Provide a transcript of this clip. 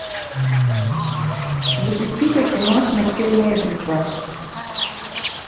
запусти ка кино смертельная битва